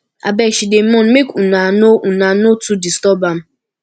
abeg she dey mourn make una no una no too disturb am